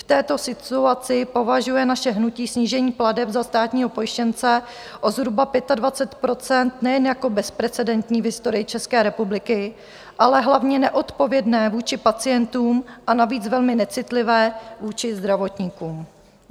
V této situaci považuje naše hnutí snížení plateb za státního pojištěnce o zhruba 25 % nejen jako bezprecedentní v historii České republiky, ale hlavně neodpovědné vůči pacientům a navíc velmi necitlivé vůči zdravotníkům.